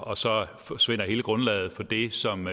og så forsvinder hele grundlaget for det som